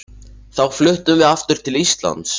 Þá fluttum við aftur til Íslands.